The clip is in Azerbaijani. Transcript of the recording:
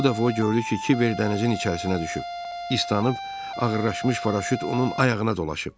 Bu dəfə o gördü ki, Kiver dənizin içərisinə düşüb, islanıb ağırlaşmış paraşüt onun ayağına dolaşıb.